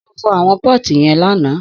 Só fọ̀ àwọn pọti yen làná?